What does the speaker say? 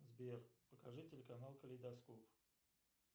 сбер покажи телеканал калейдоскоп